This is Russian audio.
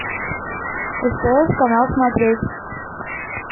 стс канал смотреть